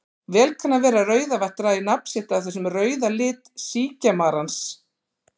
Vel kann að vera að Rauðavatn dragi nafn sitt af þessum rauða lit síkjamarans.